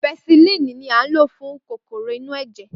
Pẹsilínìì ní a ń lò fún kòkòrò inú ẹ̀jẹ̀